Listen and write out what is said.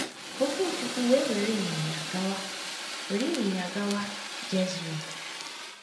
Okwuchukwu we were inyinya gawa were inyinya gawa Jezril. ”